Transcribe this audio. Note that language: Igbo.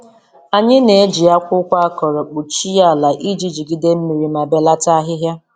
Anyị na-eji akwụkwọ akọrọ kpuchie ala iji jigide mmiri ma belata ahịhịa.